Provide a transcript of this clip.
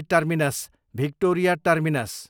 Chhatrapati Shivaji Terminus, Victoria terminus